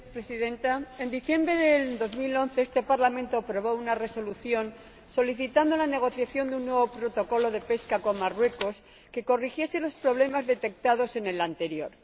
Señora Presidenta, en diciembre de 2011 este Parlamento aprobó una Resolución en la que solicitaba la negociación de un nuevo Protocolo de pesca con Marruecos que corrigiese los problemas detectados en el anterior.